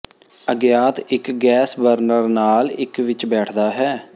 ਅਗਿਆਤ ਇੱਕ gas burner ਨਾਲ ਇੱਕ ਵਿੱਚ ਬੈਠਦਾ ਹੈ